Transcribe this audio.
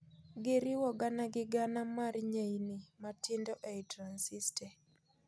Giriwo gana gi gana mar nyeini matindo ei transiste.